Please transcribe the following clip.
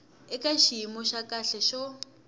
eka xiyimo xa kahle xo